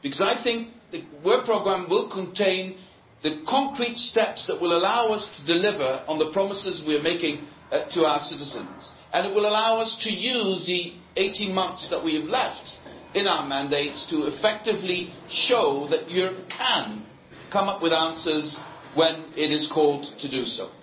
I think the work programme will contain the concrete steps that will allow us to deliver on the promises we are making to our citizens, and it will allow us to use the 18 months that we have left in our mandates to effectively show that Europe can come up with answers when it is called upon to do so.